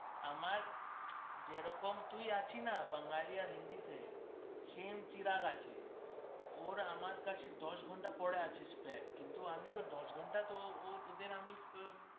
আমার যে রকম তুই আছিস না বাঙালি আর হিন্দিতে same চিরাগ আছে ওর আমার কাছে দশ ঘন্টা পড়া আছে প্রায় কিন্তু আমি তো দশ ঘন্টা তো ও তোদের আমি